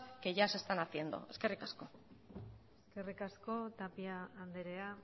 que ya se están haciendo eskerrik asko eskerrik asko tapia andrea